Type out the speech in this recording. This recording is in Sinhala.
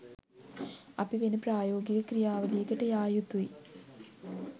අපි වෙන ප්‍රායෝගික ක්‍රියාවලියකට යා යුතුයි